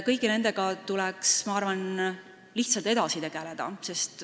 Kõigi nendega tuleks, ma arvan, lihtsalt edasi tegeleda.